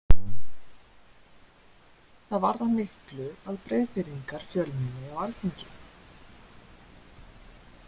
Það varðar miklu að Breiðfirðingar fjölmenni á alþingi.